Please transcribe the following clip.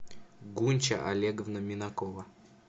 гунча олеговна минакова